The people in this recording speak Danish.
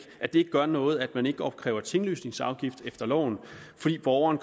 gør noget at man ikke opkræver tinglysningsafgift efter loven fordi borgeren